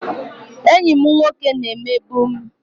Enyi m nwoke na-emegbu m